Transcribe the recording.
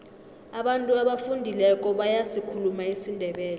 abantu abafundileko bayasikhuluma isindebele